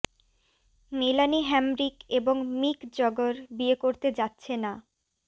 মেলানি Hamrick এবং Mick Jagger বিয়ে করতে যাচ্ছে না